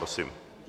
Prosím.